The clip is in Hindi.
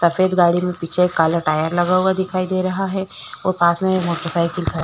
सफ़ेद गाड़ी में पीछे काला टायर लगा हुआ दिखाई दे रहा है और पास में एक मोटर साइकिल ख--